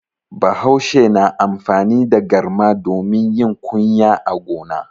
Bahaushe na amfani da garma domin yin kuyya a gona.